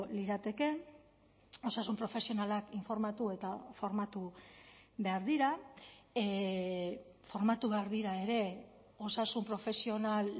lirateke osasun profesionalak informatu eta formatu behar dira formatu behar dira ere osasun profesional